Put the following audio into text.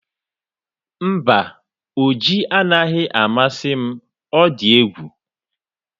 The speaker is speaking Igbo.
Mba, oji anaghị amasị m ọ dị egwu